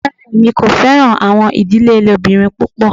Rárá, èmi kò fẹ̀ràn awọn idílé ilẹòbìrín pupọ̀